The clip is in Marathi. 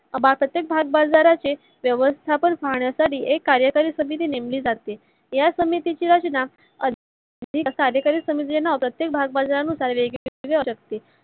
सभासाचक भागबाजाराचे व्यवस्थापन पाहण्या साठी एक कार्सयकरी समिती नेमली जाते. या समितीची रचना अधिकारी समिती नेमतात ते भाग बाजार नुसार वेगवेगळ्या